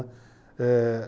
Eh...